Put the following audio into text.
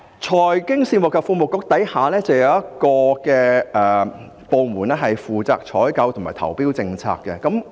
財經事務及庫務局下亦有一個負責採購及投標政策的部門。